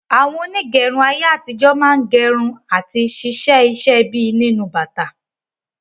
Àwọn onígẹrun ayé àtijó máa n gerun àti ṣíṣe iṣẹ bíi nínú bàtà